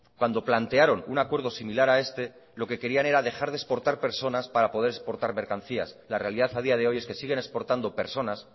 cuando plantearon un acuerdo similar a este lo que querían era dejar de exportar personas para poder exportar mercancías la realidad a día de hoy es que siguen exportando personas